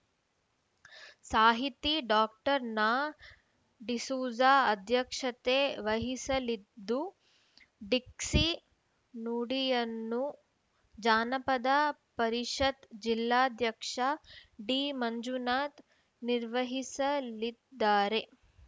ಸಾಹಿತಿ ಡಾ ನಾಡಿಸೂಜ ಅಧ್ಯಕ್ಷತೆ ವಹಿಸಲಿದ್ದು ಡಿಕ್ಷಿ ನುಡಿಯನ್ನು ಜಾನಪದ ಪರಿಷತ್‌ ಜಿಲ್ಲಾಧ್ಯಕ್ಷ ಡಿಮಂಜುನಾಥ್‌ ನಿರ್ವಹಿಸಲಿದ್ದಾರೆ